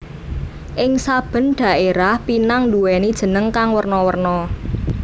Ing saben dhaérah pinang nduwèni jeneng kang werna werna